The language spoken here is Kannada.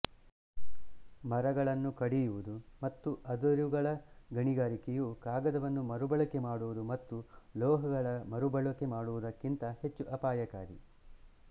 ಮರಗಳನ್ನು ಕಡಿಯುವುದು ಮತ್ತು ಅದಿರುಗಳ ಗಣಿಗಾರಿಕೆಯು ಕಾಗದವನ್ನು ಮರುಬಳಕೆ ಮಾಡುವುದು ಮತ್ತು ಲೋಹಗಳ ಮರುಬಳಕೆ ಮಾಡುವುದಕ್ಕಿಂತ ಹೆಚ್ಚು ಅಪಾಯಕಾರಿ